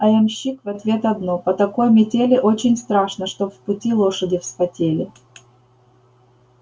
а ямщик в ответ одно по такой метели очень страшно чтоб в пути лошади вспотели